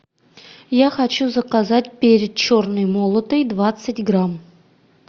я хочу заказать перец черный молотый двадцать грамм